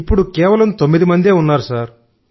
ఇప్పుడు కేవలం 9మందే ఉన్నారు సార్